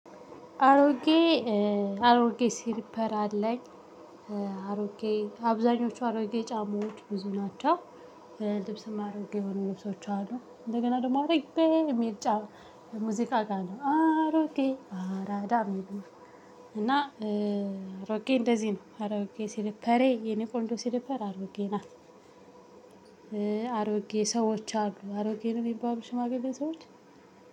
አሮጌ አሮጌ ሲሪፐር አለኝ አሮጌ አብዛኞቹ አሮጌ ጫማዎች ብዙ ናቸው። ልብስም አሮጌ የሆኑ ልብሶች አሉ እንደገና ደግሞ አሮጌ የሚል ጫማ። ሙዚቃ ጋር ነው አሮጌ አራዳ የሚሉት። እና አሮጌ እንደዚህ ነው አሮጌ ሲልፐሬ የኔ ቆንዶ ሲልፐር አሮጌ ናት። አሮጌ ሰዎች አሉ አሮጌ ነው የሚባሉ ሽማግሌ ሰዎች